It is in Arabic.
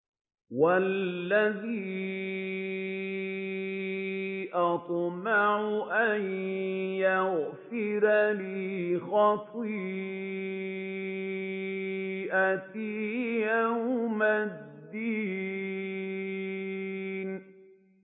وَالَّذِي أَطْمَعُ أَن يَغْفِرَ لِي خَطِيئَتِي يَوْمَ الدِّينِ